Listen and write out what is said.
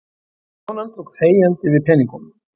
Konan tók þegjandi við peningunum.